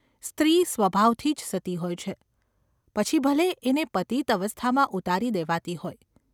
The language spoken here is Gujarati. સ્ત્રી સ્વભાવથી જ સતી હોય છે, પછી ભલે એને પતિત અવસ્થામાં ઉતારી દેવાતી હોય.